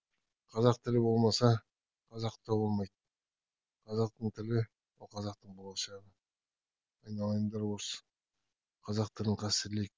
қазақ тілі болмаса қазақ та болмайды қазақтың тілі ол қазақтың болашағы айналайындар осы қазақ тілін қастерлейік